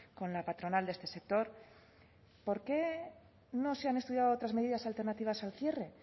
con la patronal de este sector por qué no se han estudiado otras medidas alternativas al cierre